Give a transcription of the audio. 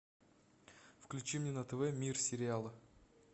включи мне на тв мир сериала